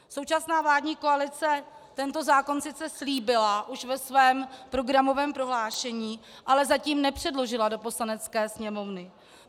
Současná vládní koalice tento zákon sice slíbila už ve svém programovém prohlášení, ale zatím nepředložila do Poslanecké sněmovny.